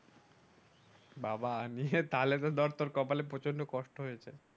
বাহ বা তাহলে তো তোর কপালে প্রচন্ড কষ্ট হয়েছে